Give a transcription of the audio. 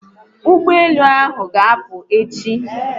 Ụgbọelu ahụ ga'apụ echi